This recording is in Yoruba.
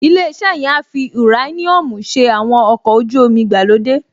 Ilé-iṣẹ́ yẹn á fi ùráníọ́ọ̀mù ṣe àwọn ọkọ̀ ojú-omi ìgbàlódé